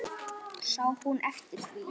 Sá hún eftir því?